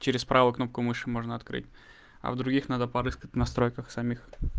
через правую кнопку мыши можно открыть а в других надо порыскать в настройках самих